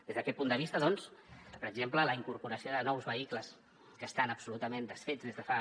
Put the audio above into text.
des d’aquest punt de vista doncs per exemple la incorporació de nous vehicles que estan absolutament desfets des de fa